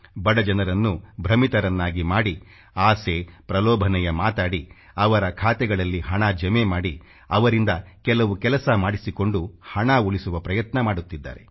ಬಡಜನರನ್ನು ಭ್ರಮಿತರನ್ನಾಗಿ ಮಾಡಿ ಆಸೆ ಪ್ರಲೋಭನೆಯ ಮಾತಾಡಿ ಅವರ ಖಾತೆಗಳಲ್ಲಿ ಹಣ ಜಮೆ ಮಾಡಿ ಅವರಿಂದ ಕೆಲವು ಕೆಲಸ ಮಾಡಿಸಿಕೊಂಡು ಹಣ ಉಳಿಸುವ ಪ್ರಯತ್ನ ಮಾಡುತ್ತಿದ್ದಾರೆ